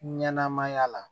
Ɲɛnɛma ya la